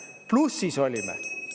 Plussis olime!